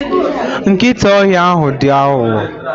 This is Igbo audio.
Nkịta ọhịa ahụ dị aghụghọ.